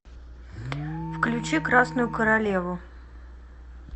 включи красную королеву